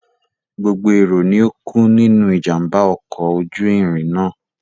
Gbogbo èrò ni ó kú nínú ìjàm̀bá ọkọ̀ ojú irin náà.